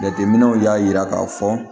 Jateminɛw y'a jira k'a fɔ